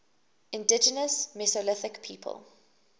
indigenous mesolithic people